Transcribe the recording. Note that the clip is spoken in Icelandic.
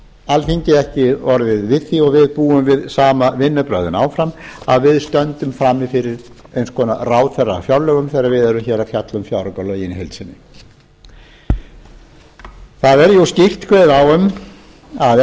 alþingi ekki orðið við því og við búum við sömu vinnubrögðin áfram að við stöndum frammi fyrir eins konar ráðherrafjárlögum þegar við erum hér að fjalla um fjáraukalögin í heild sinni það er jú skýrt kveðið á um að